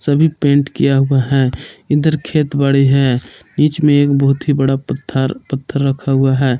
सभी पेंट किया हुआ है इधर खेत बड़ी है बीच में एक बहुत ही बड़ा पत्थर पत्थर रखा हुआ है।